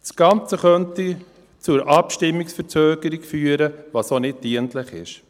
Das Ganze könnte zur Abstimmungsverzögerung führen, was auch nicht dienlich ist.